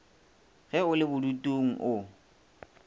ge o le bodutung o